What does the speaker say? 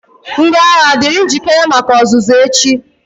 Ndị agha, dịrị njikere maka ọzụzụ echi!